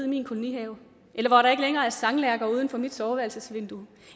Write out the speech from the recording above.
min kolonihave eller er sanglærker uden for mit soveværelsvindue